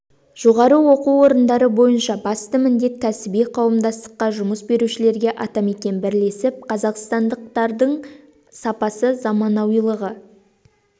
жоғары оқу орындары бойынша басты міндет кәсіби қауымдастыққа жұмыс берушілерге атамекен бірлесіп қазақстандық лардың сапасы заманауилығы